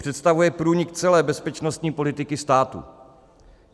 Představuje průnik celé bezpečnostní politiky státu.